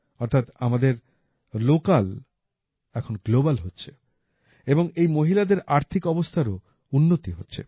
অর্থাৎ আমাদের লোকাল এখন গ্লোবাল হচ্ছে এবং এই মহিলাদের আর্থিক অবস্থার ও উন্নতি হচ্ছে